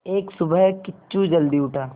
एक सुबह किच्चू जल्दी उठा